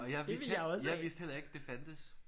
Og jeg vidste jeg vidste heller ikke at det fandtes